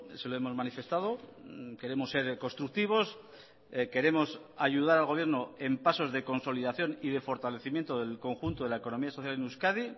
se lo hemos manifestado queremos ser constructivos queremos ayudar al gobierno en pasos de consolidación y de fortalecimiento del conjunto de la economía social en euskadi